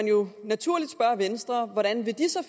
jo naturligt spørge venstre hvordan de så